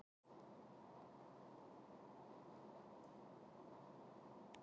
Það er föður mínum að þakka að ég er sá sem ég er.